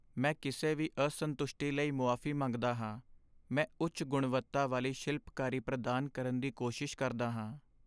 ਮੈਂ ਕਿਸੇ ਵੀ ਅਸੰਤੁਸ਼ਟੀ ਲਈ ਮੁਆਫ਼ੀ ਮੰਗਦਾ ਹਾਂ, ਮੈਂ ਉੱਚ ਗੁਣਵੱਤਾ ਵਾਲੀ ਸ਼ਿਲਪਕਾਰੀ ਪ੍ਰਦਾਨ ਕਰਨ ਦੀ ਕੋਸ਼ਿਸ਼ ਕਰਦਾ ਹਾਂ।